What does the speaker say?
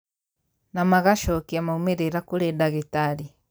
Na magacokia maumĩrĩra kũrĩ ndagĩtarĩ